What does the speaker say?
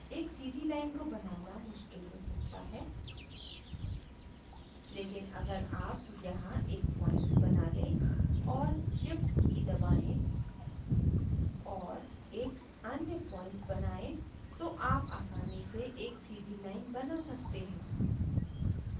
एक सीधी line को बनाना मुश्किल हो सकता है लेकिन अगर आप यहाँ एक point बना लें और shift की दबाएं और एक अन्य point बनायें तो आप आसानी से एक सीधी line बना सकते हैं